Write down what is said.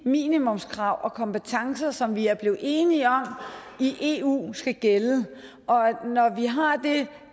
minimumskrav og kompetencer som vi er blevet enige om i eu skal gælde og når vi har det